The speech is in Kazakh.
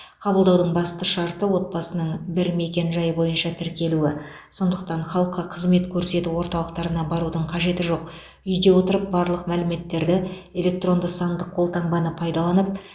қабылдаудың басты шарты отбасының бір мекен жайы бойынша тіркелуі сондықтан халыққа қызмет көрсету орталығына барудың қажеті жоқ үйде отырып барлық мәліметтерді электронды сандық қолтаңбаны пайдаланып